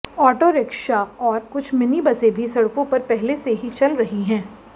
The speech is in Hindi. ऑटो रिक्शा और कुछ मिनी बसें भी सड़कों पर पहले से ही चल रही हैं